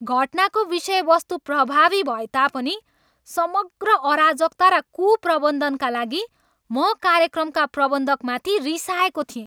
घटनाको विषयवस्तु प्रभावी भए तापनि समग्र अराजकता र कुप्रबन्धनका लागि म कार्यक्रमका प्रबन्धकमाथि रिसाएको थिएँ।